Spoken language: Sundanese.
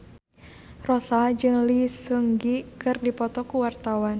Rossa jeung Lee Seung Gi keur dipoto ku wartawan